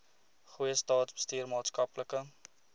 goeie staatsbestuur maatskaplike